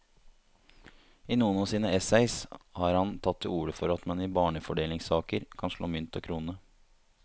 I noen av sine essays har han tatt til orde for at man i barnefordelingssaker kan slå mynt og krone.